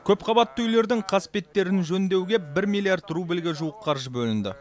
көпқабатты үйлердің қасбеттерін жөндеуге бір миллиард рубльге жуық қаржы бөлінді